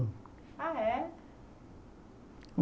Ah, é?